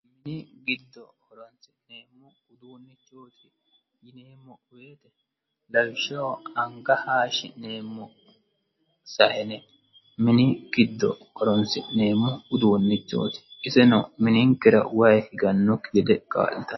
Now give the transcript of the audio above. mini giddo horonisinemmo uddunichoti yinemmo woyite Lawishshaho anigga haashinemmo saayine mini giddo horonisinemmo uddunichoti iseno mininikera wayi higganokki gede kaalittanno